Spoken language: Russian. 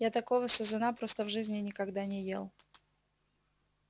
я такого сазана просто в жизни никогда не ел